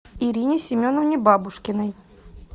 ирине семеновне бабушкиной